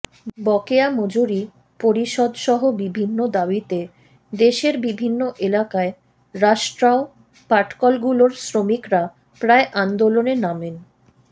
বকেয়া মজুরি পরিশোধসহ বিভিন্ন দাবিতে দেশের বিভিন্ন এলাকায় রাষ্ট্রায়ত্ত পাটকলগুলোর শ্রমিকরা প্রায় আন্দোলনে নামেন